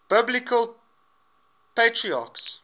biblical patriarchs